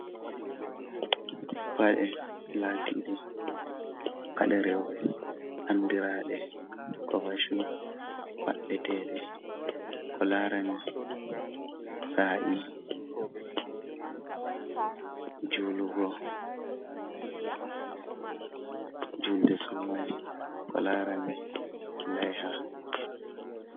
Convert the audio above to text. Paɗe latiɗe paɗe reube. anɗiraɗe kova shu. Paɗɗe te ɗe. Ko larani sa’i julugo julɗe sumai ko larani laiha.